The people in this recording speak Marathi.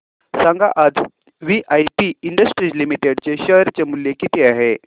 सांगा आज वीआईपी इंडस्ट्रीज लिमिटेड चे शेअर चे मूल्य किती आहे